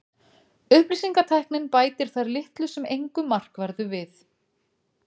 Upplýsingatæknin bætir þar litlu sem engu markverðu við.